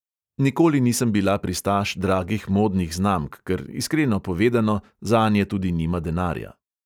Nikoli nisem bila pristaš dragih modnih znamk, ker, iskreno povedano, zanje tudi nima denarja.